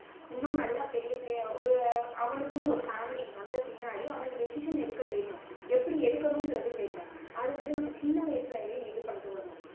இன்னும் நல்லா பெரிய பெரிய ஒரு அவனுக்குன்னு ஒரு family வந்த பின்னாடி decision எடுக்க தெரியும். எப்படி எடுக்கணும்ன்றது தெரியும். அது வந்து நம்ம சின்ன வயசுல இருந்தே வந்து இது பண்ணிட்டு வரணும்